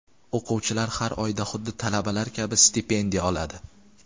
O‘quvchilar har oyda xuddi talabalar kabi stipendiya oladi.